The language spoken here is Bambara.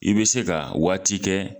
I be se ka waati kɛ